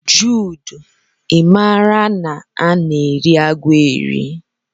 Jude, i maara na a na-eri agwọ eri.?